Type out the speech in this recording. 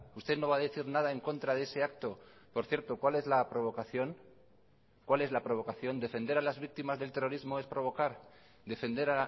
usted no va a decir nada en contra de ese acto por cierto cuál es la provocación cuál es la provocación defender a las víctimas del terrorismo es provocar defender